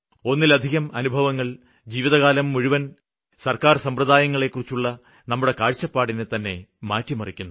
ഒന്നിലധികം അനുഭവങ്ങള് ജീവിതകാലം മുഴുവന് സര്ക്കാര് സമ്പ്രദായങ്ങളെക്കുറിച്ചുള്ള നമ്മുടെ കാഴ്ചപ്പാടിനെത്തന്നെ മാറ്റിമറിക്കുന്നു